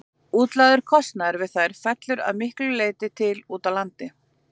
Útlagður kostnaður við þær fellur að miklu leyti til úti á landi.